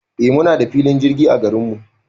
Eh muna da filin jirgi a garinmu